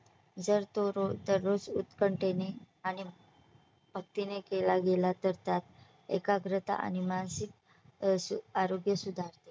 जर तो रोज दररोज उत्कंठेने आणि भक्तीने केला गेला तर त्यात एकाग्रता आणि मानसिक आरोग्य सुधारते